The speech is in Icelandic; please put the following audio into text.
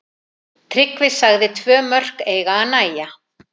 Tryggvi sagði tvö mörk eiga að nægja.